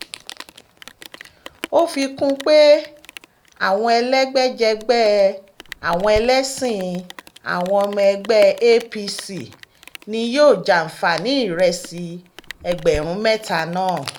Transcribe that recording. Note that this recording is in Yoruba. ó fi kún un pé àwọn elégbèjẹgbẹ́ àwọn ẹlẹ́sìn àwọn ọmọ ẹgbẹ́ apc ni yóò jàǹfààní ìrẹsì ẹgbẹ̀rún mẹ́ta náà